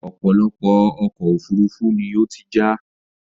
ọ̀pọ̀lọpọ̀ ọkọ̀ òfurufú ni ó ti já